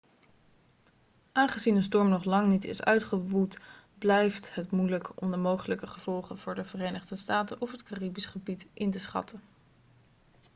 aangezien de storm nog lang niet is uitgewoed blijft het moeilijk om de mogelijke gevolgen voor de verenigde staten of het caribisch gebied in te schatten